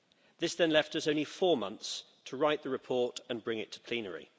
This then left us only four months to write the report and bring it to plenary.